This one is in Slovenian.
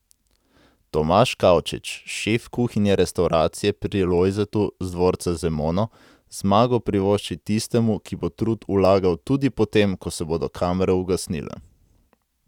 Tomaž Kavčič, šef kuhinje restavracije Pri Lojzetu z dvorca Zemono, zmago privošči tistemu, ki bo trud vlagal tudi po tem, ko se bodo kamere ugasnile.